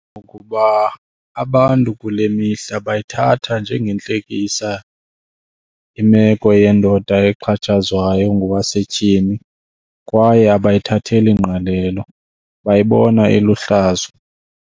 Kukuba abantu kule mihla bayithatha njengentlekisa imeko yendoda exhatshazwayo ngowasetyhini kwaye abayithatheli ngqalelo, bayibona iluhlazo.